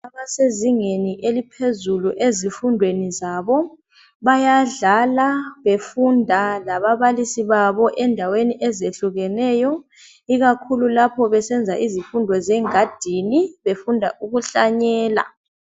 Abasezingeni eliphezulu ezifundweni zabo bayadlala befunda lababalisi babo endaweni ezehlukeneyo ikakhulu lapho besenza izifundo zengadini befunda ukuhlanyela.